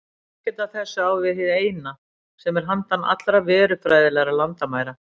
Ekkert af þessu á við hið Eina, sem er handan allra verufræðilegra landamæra.